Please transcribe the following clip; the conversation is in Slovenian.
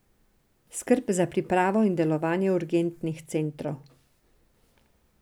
Skrb za pripravo in delovanje urgentnih centrov.